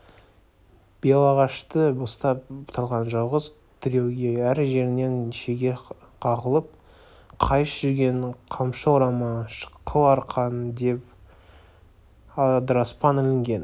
белағашты ұстап тұрған жалғыз тіреуге әр жерінен шеге қағылып қайыс-жүген қамшы орама қыл арқан бір десте адыраспан ілінген